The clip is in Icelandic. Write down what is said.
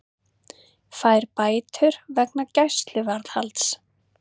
Fær bætur vegna gæsluvarðhalds